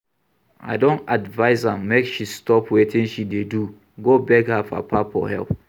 I don advice am make she stop wetin she dey do go beg her papa for help